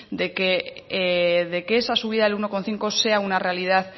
de que esa subida del uno coma cinco sea una realidad